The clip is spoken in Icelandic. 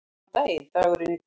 Góðan daginn dagurinn í dag